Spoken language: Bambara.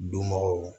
Dunbagaw